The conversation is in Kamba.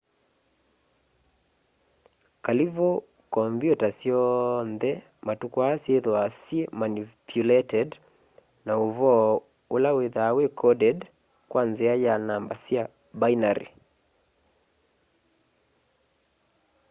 kalivu kombyuta syoonthe matuku aa syithwaa syimanipuleted na uvoo ula withwaa wi coded kwa nzia ya namba sya binary